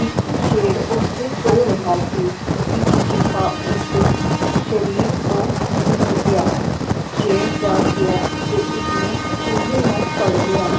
ਇੱਕ ਸ਼ੇਰ ਓਥੇ ਸੋ ਰਿਹਾ ਸੀ ਇੱਕ ਚੂਹਾ ਉਸਦੇ ਸ਼ਰੀਰ ਤੋਂ ਭਿੱਜ ਗਿਆ, ਸ਼ੇਰ ਜਾਗ ਗਿਆ ਤੇ ਉਸਨੇ ਚੂਹੇ ਨੂੰ ਫੜ ਲਿਆ